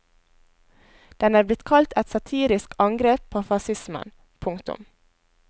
Den er blitt kalt et satirisk angrep på fascismen. punktum